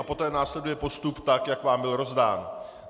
A poté následuje postup tak, jak vám byl rozdán.